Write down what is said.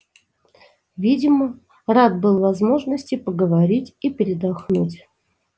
видимо рад был возможности поговорить и передохнуть